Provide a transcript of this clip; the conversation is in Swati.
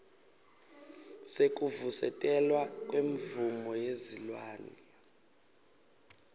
sekuvusetelwa kwemvumo yesilwane